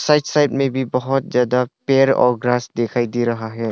Right side में भी बहुत ज्यादा पेड़ और ग्रास दिखाई दे रहा है।